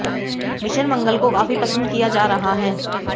mission Mangal को काफी पसंद किया जा रहा है